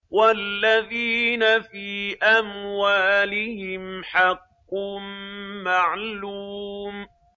وَالَّذِينَ فِي أَمْوَالِهِمْ حَقٌّ مَّعْلُومٌ